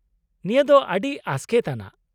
-ᱱᱤᱭᱟᱹ ᱫᱚ ᱟᱹᱰᱤ ᱟᱥᱠᱮᱛ ᱟᱱᱟᱜ!